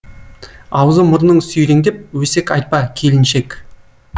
аузы мұрның сүйреңдеп өсек айтпа келіншек